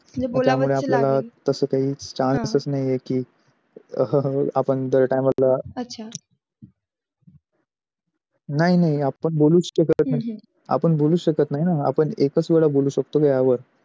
त्या मध्ये तस काही chance नाही आहे की अह आपण दर time ला नाही नाही आपण बोलूस शकत नाही हम्म आपण आपण एकास वेळा बोलू शकते यावर